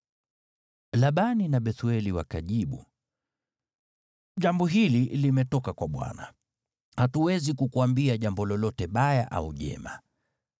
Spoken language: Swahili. Labani na Bethueli wakajibu, “Jambo hili limetoka kwa Bwana , hatuwezi kukuambia jambo lolote baya au jema.